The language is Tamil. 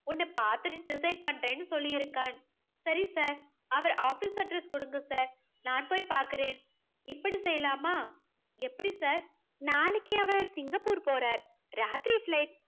உன்னை பார்த்துட்டு decide பண்றேன்னு சொல்லி இருக்கான். சரி sir அவர் office address கொடுங்க சார், நான் போய் பார்க்கிறேன். இப்படி செய்யலாமா எப்படி sir நாளைக்கு அவர் சிங்கப்பூர் போறார் ராத்திரி flight